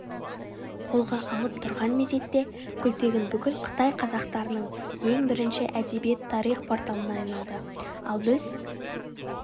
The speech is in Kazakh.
қолға алып тұрған мезетте күлтегін бүкіл қытай қазақтарының ең бірінші әдебиет-тарих порталына айналды ал біз